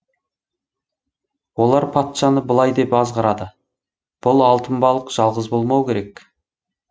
олар патшаны былай деп азғырады бұл алтын балық жалғыз болмау керек